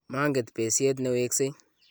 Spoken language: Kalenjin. manget besiet ne weksei